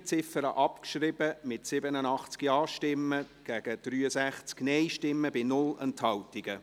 Sie haben die Ziffer 3 abgeschrieben, mit 87 Ja- zu 63 Nein-Stimmen ohne Enthaltungen.